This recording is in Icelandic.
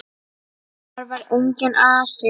Þar var enginn asi.